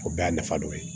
O bɛɛ y'a nafa dɔ ye